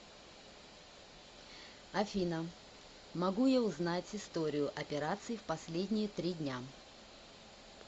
афина могу я узнать историю операций в последние три дня